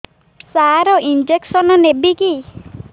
ସାର injection ନେବିକି